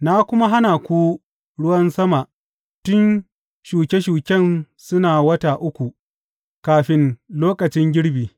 Na kuma hana muku ruwan sama tun shuke shuken suna wata uku kafin lokacin girbi.